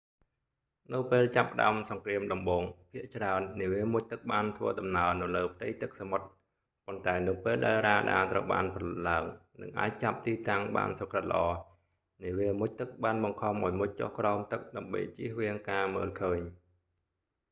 នៅពេលចាប់ផ្ដើមសង្គ្រាមដំបូង ភាគច្រើន នាវាមុជទឹកបានធ្វើដំណើរនៅលើផ្ទៃទឹកសមុទ្រ ប៉ុន្តែនៅពេលដែលរ៉ាដាត្រូវបានផលិតឡើង និងអាចចាប់ទីតាំងបានសុក្រឹតល្អ នាវាមុជទឹកបានបង្ខំឱ្យមុជចុះក្រោមទឹក ដើម្បីជៀសវាងការមើលឃើញ